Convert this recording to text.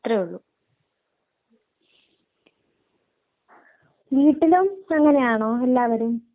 പിന്നെ ഈ കോട്ടയത്തോട്ട് പോകുമ്പോഴാ അവര് കൂടുതൽ മാംസം ആഹാരം ആയിരിക്കും കൂടുതല് കഴിക്കുന്നേ